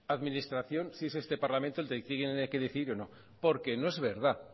administración si es este parlamento el que decidir o no porque no es verdad